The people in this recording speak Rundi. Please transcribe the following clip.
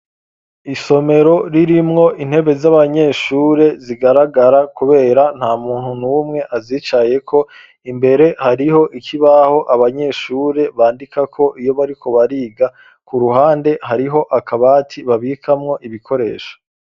isomero ririmwo intebe z'abanyeshure zigaragara kubera ntamuntu numwe azicayeko, imbere hariho ikibaho abanyeshure bandikako iyo bariko bariga, ku ruhande hariho akabati babikamwo ibikoresho.